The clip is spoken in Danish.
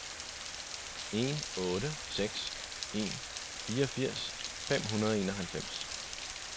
en otte seks en fireogfirs fem hundrede og enoghalvfems